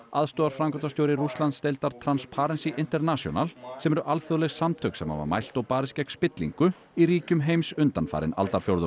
aðstoðarframkvæmdastjóri Rússlandsdeildar Transparency International sem eru alþjóðleg samtök sem hafa mælt og barist gegn spillingu í ríkjum heims undanfarinn aldarfjórðung